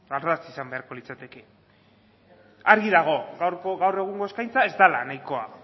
ardatz izan beharko litzateke argi dago gaur egungo eskaintza ez dela nahikoa